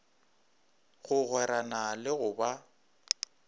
go gwerana le go ba